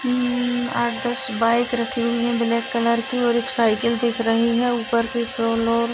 अ म आठ दस बाइक रखी हुई है ब्लैक कलर की और एक साइकिल दिख रही है ऊपर की ।